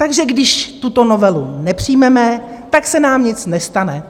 Takže když tuto novelu nepřijmeme, tak se nám nic nestane.